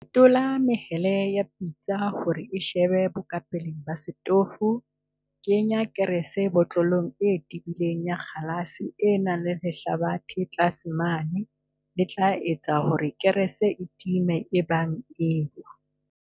Fetola mehele ya pitsa hore e se shebe bokapeleng ba setofo kenya kerese botlolong e tebileng ya kgalase e nang le lehlabathe tlase mane le tla etsa hore kerese e time ebang e ewa.